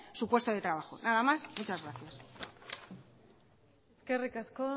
su puesto de trabajo nada más muchas gracias eskerrik asko